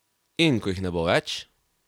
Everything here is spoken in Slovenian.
In ko jih ne bo več?